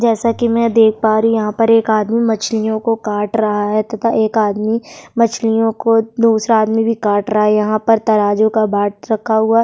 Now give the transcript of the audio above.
जैसा कि मैं देख पा रही यहाँ पर एक आदमी मछलियों को काट रहा है तथा एक आदमी मछलियों को दूसरा आदमी भी काट रहा यहाँ पर तराजू का बाँट रखा हुआ --